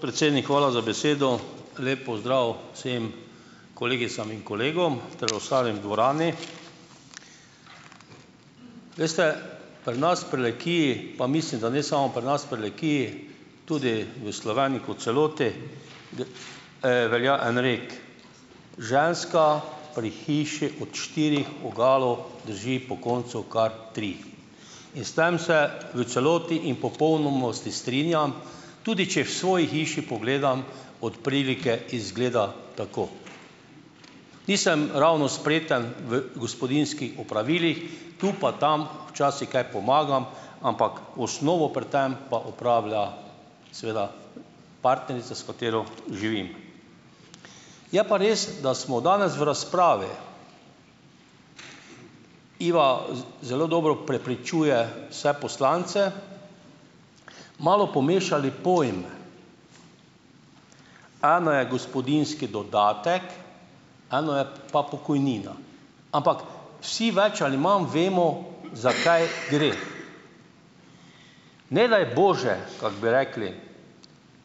Predsednik, hvala za besedo. Lep pozdrav vsem kolegicam in kolegom ter ostalim v dvorani! Veste, pri nas v Prlekiji, pa mislim, da ne samo pri nas v Prlekiji, tudi v Sloveniji kot celoti, velja en rekel: "Ženska pri hiši od štirih vogalov drži po koncu kar tri." In s tem se v celoti in v popolnosti strinjam, tudi če v svoji hiši pogledam, od prilike izgleda tako. Nisem ravno spreten v gospodinjskih opravilih, tu pa tam včasih kaj pomagam, ampak osnovo pri tem pa opravlja seveda partnerica, s katero živim. Je pa res, da smo danes v razpravi, Iva z zelo dobro prepričuje vse poslance, malo pomešali pojme. Eno je gospodinjski dodatek, eno je pa pokojnina, ampak vsi več ali manj vemo, za kaj gre. Ne daj bože, kako bi rekli,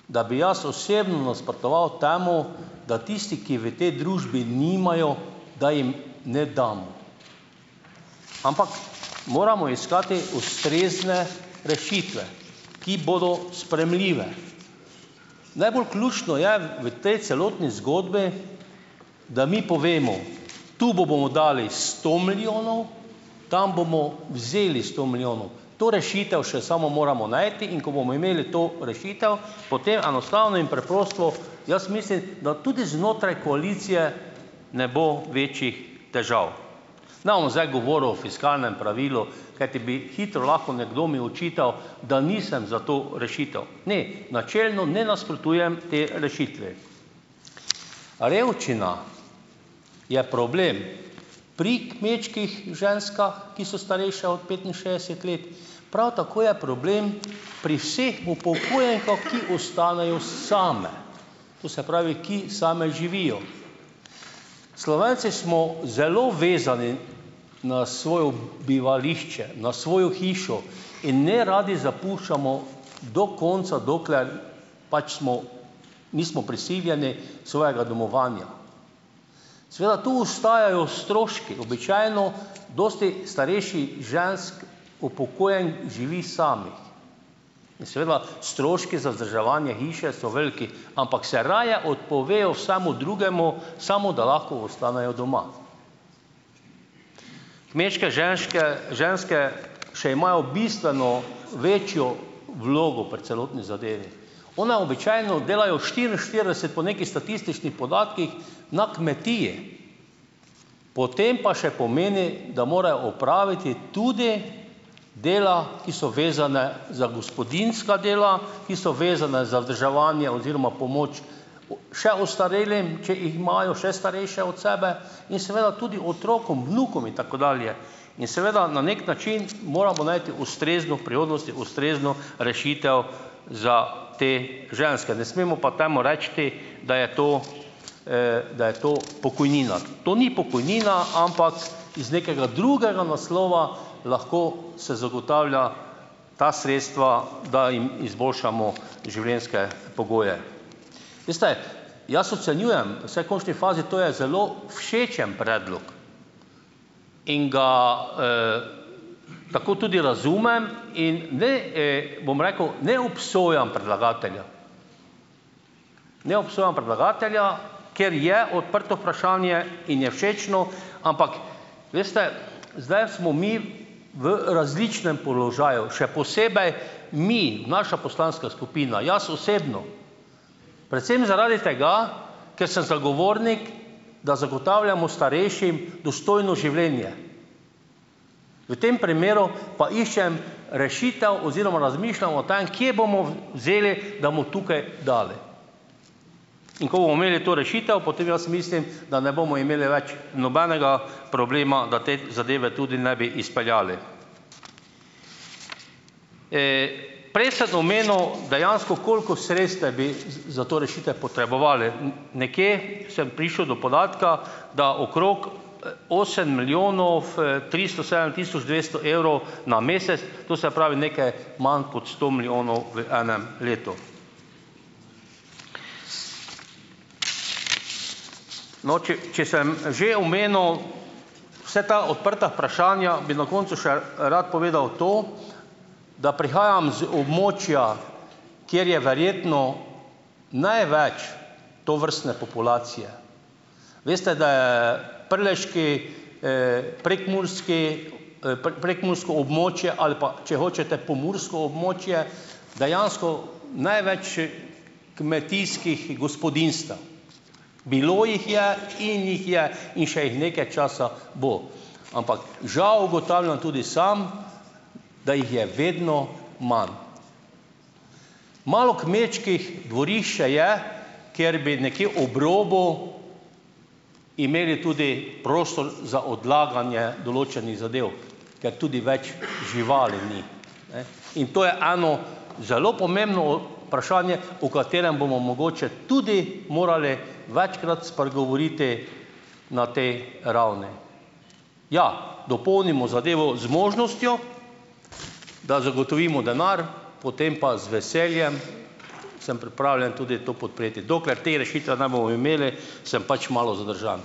da bi jaz osebno nasprotoval temu, da tisti, ki v tej družbi nimajo, da jim ne damo. Ampak moramo iskati ustrezne rešitve, ki bodo sprejemljive. Najbolj ključno je v tej celotni zgodbi, da mi povemo tu bomo dali sto milijonov, tam bomo vzeli sto milijonov. To rešitev še samo moramo najti, in ko bomo imeli to rešitev, potem enostavno in preprosto jaz mislim, da tudi znotraj koalicije ne bo večjih težav. Ne bom zdaj govoril o fiskalnem pravilu, kajti bi hitro lahko nekdo mi očital, da nisem za to rešitev, ne, načelno ne nasprotujem tej rešitvi. Revščina je problem pri kmečkih ženskah, ki so starejše od petinšestdeset let, prav tako je problem pri vseh upokojenkah, ki ostanejo same. To se pravi, ki same živijo. Slovenci smo zelo vezani na svojo bivališče, na svojo hišo in neradi zapuščamo do konca, dokler pač smo, nismo prisiljeni svojega domovanja. Seveda tu ostajajo stroški, običajno dosti starejših žensk, upokojenk živi samih in seveda stroški za vzdrževanje hiše so veliki, ampak se raje odpovejo vsemu drugemu, samo da lahko ostanejo doma. Kmečke ženške, ženske še imajo bistveno večjo vlogo pri celotni zadevi. One običajno delajo štiriinštirideset po nekih statističnih podatkih na kmetiji, potem pa še pomeni, da mora opraviti tudi dela, ki so vezana za gospodinjska dela, ki so vezana za vzdrževanje oziroma pomoč o še ostarelim, če jih imajo še starejše od sebe, in seveda tudi otrokom, vnukom in tako dalje. In seveda na neki način moramo najti ustrezno v prihodnosti, ustrezno rešitev za te ženske. Ne smemo pa temu reči, da je to, da je to pokojnina. To ni pokojnina, ampak iz nekega drugega naslova lahko se zagotavlja ta sredstva, da jim izboljšamo življenjske pogoje. Veste, jaz ocenjujem, saj končni fazi to je zelo všečen predlog in ga, tako tudi razumem in da ne, bom rekel, ne obsojam predlagatelja. Ne obsojam predlagatelja, ker je odprto vprašanje in je všečno, ampak veste, zdaj smo mi v različnem položaju, še posebej mi, naša poslanska skupina, jaz osebno. Predvsem zaradi tega, ker sem zagovornik, da zagotavljamo starejšim dostojno življenje. V tem primeru pa iščem rešitev oziroma razmišljam o tem, kje bomo v vzeli, da bomo tukaj dali. In ko bomo imeli to rešitev, potem jaz mislim, da ne bomo imeli več nobenega problema, da te zadeve tudi ne bi izpeljali. Prej sem omenil dejansko koliko sredstev bi za za to rešitev potrebovali. Nekje sem prišel do podatka, da okrog, osem milijonov, tristo sedem tisoč dvesto evrov na mesec, to se pravi, nekaj manj kot sto milijonov v enem letu. No, če, če sem že omenil vse ta odprta vprašanja, bi na koncu še rad povedal to, da prihajam z območja, kjer je verjetno največ tovrstne populacije. Veste, da je prleški, prekmurski, prekmursko območje ali pa, če hočete, pomursko območje dejansko največ, kmetijskih gospodinjstev. Bilo jih je in jih je in jih še nekaj časa bo, ampak žal ugotavljam tudi sam, da jih je vedno manj. Malo kmečkih dvorišč še je, kjer bi nekje ob robu imeli tudi prostor za odlaganje določenih zadev, ker tudi več živali ni, ne, in to je eno zelo pomembno vprašanje, o katerem bomo mogoče tudi morali večkrat spregovoriti na tej ravni. Ja, dopolnimo zadevo z možnostjo, da zagotovimo denar, potem pa z veseljem sem pripravljen tudi to podpreti. Dokler te rešitve ne bomo imeli, sem pač malo zadržan.